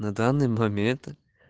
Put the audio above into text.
на данный момент